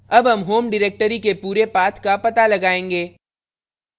अब हम home directory के पूरे path का path लगाएंगे